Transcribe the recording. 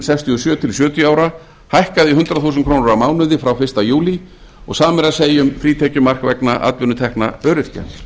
sextíu og sjö til sjötíu ára hækkað í hundrað þúsund krónur á mánuði frá fyrsta júlí og sama er að segja um frítekjumark vegna atvinnutekna öryrkja